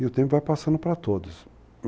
E o tempo vai passando para todos.